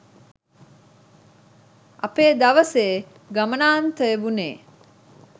අපේ දවසේ ගමනාන්තය වුනේ.